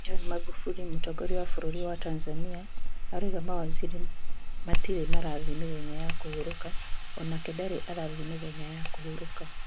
John Maghufuli:Mũtongoria wa bũrũri wa Tanzania arauga mawaziri matirĩ marathii mĩthenya ya kũhurũka onake ndarĩ arathii mĩthenya ya kũhurũka